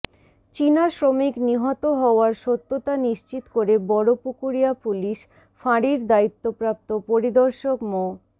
চীনা শ্রমিক নিহত হওয়ার সত্যতা নিশ্চিত করে বড়পুকুরিয়া পুলিশ ফাঁড়ির দায়িত্বপ্রাপ্ত পরিদর্শক মো